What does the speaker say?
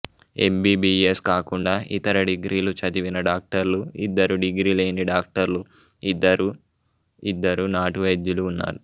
MBBS కాకుండా ఇతర డిగ్రీలు చదివిన డాక్టర్లు ఇద్దరు డిగ్రీ లేని డాక్టర్లు ఇద్దరు ఇద్దరు నాటు వైద్యులు ఉన్నారు